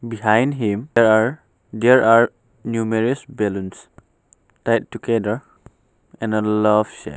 Behind him there are numerous balloons and together and in a love shape.